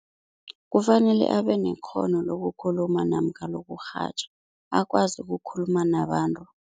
Kufanele abenekghono lokukhuluma namkha lokurhatjha, akwazi ukukhuluma nabantu.